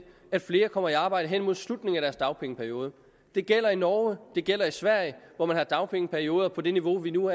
at flere kommer i arbejde hen imod slutningen af deres dagpengeperiode det gælder i norge og det gælder i sverige hvor man har dagpengeperioder på det niveau vi nu